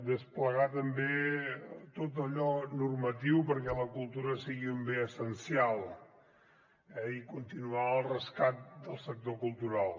desplegar també tot allò normatiu perquè la cultura sigui un bé essencial i continuar el rescat del sector cultural